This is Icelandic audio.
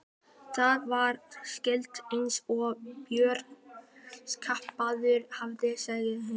Hann var skáld eins og Björn kaupmaður hafði sagt þeim.